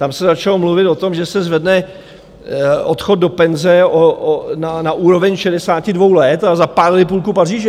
Tam se začalo mluvit o tom, že se zvedne odchod do penze na úroveň 62 let, a zapálili půlku Paříže.